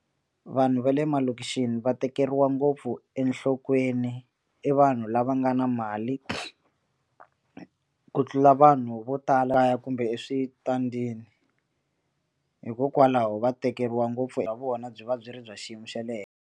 Vanhu va le malokixini va tekeriwa ngopfu enhlokweni i vanhu lava nga na mali ku tlula vanhu vo tala kaya kumbe eswitandini hikokwalaho va tekeriwa ngopfu ya vona byi va byi ri bya xiyimo xa le henhla.